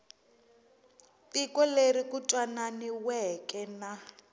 tiko leri ku twananiweke na